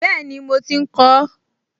Bẹ́ẹ̀ni, mo ti ń kọ ọ́